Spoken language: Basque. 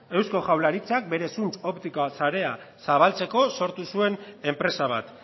eusko jaurlaritzak bere zuntz optikoa sarea zabaltzako sortu zuen enpresa bat